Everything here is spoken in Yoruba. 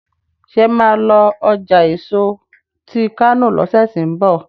ṣe má lọ ọjà èso tí kano lọsẹ tí n bọ?